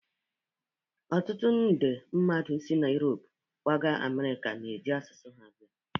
Ọtụtụ nde mmadụ si Europe kwaga Amerịka, na-eji asụsụ ha abịa